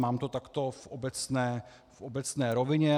Mám to takto v obecné rovině.